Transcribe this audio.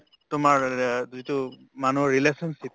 তোমাৰ যিটো মানুহৰ relationship